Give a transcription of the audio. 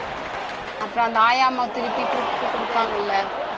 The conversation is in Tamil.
அப்புறம் அந்த ஆயா அம்மா திருப்பி கூப்பிட்டு குடுத்தாங்கல்ல